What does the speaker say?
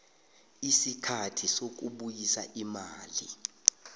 isikhathi sokubuyisa imali